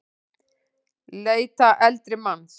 Leita eldri manns